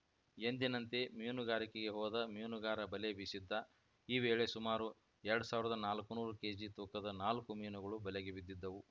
ಎಂದಿನಂತೆ ಮೀನುಗಾರಿಕೆಗೆ ಹೋದ ಮೀನುಗಾರ ಬಲೆ ಬೀಸಿದ್ದ ಈ ವೇಳೆ ಸುಮಾರು ಎರಡು ಸಾವಿರದ ನಾಲ್ಕುನೂರು ಕೇಜಿ ತೂಕದ ನಾಲ್ಕು ಮೀನುಗಳು ಬಲೆಗೆ ಬಿದ್ದಿದ್ದವು